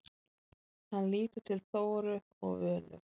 Hann lítur til Þóru og Völu.